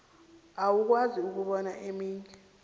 awukwazi ukubona eminye